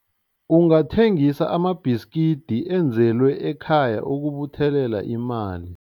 Ungathengisa amabhiskidi enzelwe ekhaya ukubuthelela imali.